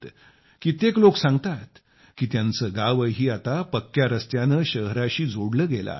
कित्येक लोकं सांगतात की त्यांचे गावही आता चांगल्या रस्त्याने शहराशी जोडले गेले आहे